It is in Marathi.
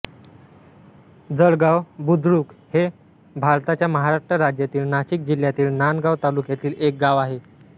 जळगाव बुद्रुक हे भारताच्या महाराष्ट्र राज्यातील नाशिक जिल्ह्यातील नांदगाव तालुक्यातील एक गाव आहे